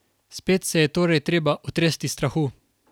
Spet se je torej treba otresti strahu.